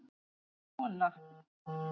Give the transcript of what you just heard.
Svona